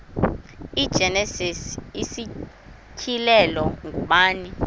igenesis isityhilelo ngubani